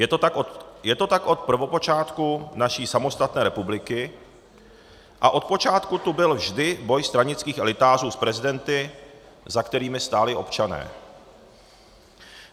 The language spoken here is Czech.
Je to tak od prvopočátku naší samostatné republiky a od počátku tu byl vždy boj stranických elitářů s prezidenty, za kterými stáli občané.